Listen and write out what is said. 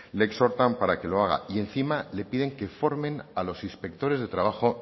le exhortan para que lo haga y encima le piden que formen a los inspectores de trabajo